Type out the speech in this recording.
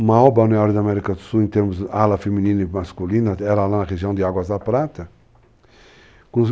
uma alba na América do Sul em termos de ala feminina e masculina, ela lá na região de Águas da Prata.